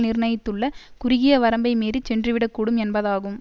நிர்ணயித்துள்ள குறுகிய வரம்பை மீறி சென்றுவிடக்கூடும் என்பதாகும்